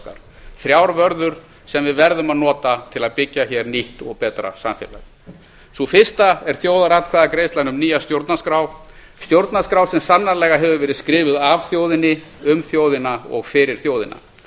okkar þrjár vörður sem við verðum að nota til að byggja hér nýtt og betra samfélag sú fyrsta er þjóðaratkvæðagreiðslan um nýja stjórnarskrá stjórnarskrá sem sannarlega hefur verið skrifuð af þjóðinni um þjóðina og fyrir þjóðina